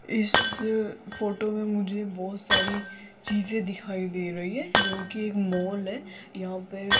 इस फोटो में मुझे बहोत सारी चीजे दिखाई दे रही है जो की एक मॉल है यहां पे --